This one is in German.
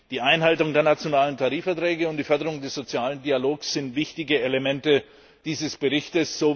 Die Einhaltung der nationalen Tarifverträge und die Förderung des sozialen Dialogs sind wichtige Elemente dieses Berichts.